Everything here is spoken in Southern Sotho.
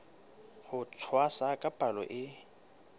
ho tshwasa ka palo e